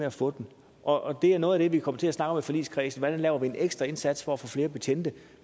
at få dem og det er noget af det vi kommer til at snakke om i forligskredsen hvordan laver vi en ekstra indsats for at få flere betjente